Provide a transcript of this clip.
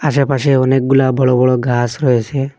আশেপাশে অনেকগুলা বড় বড় গাস রয়েসে।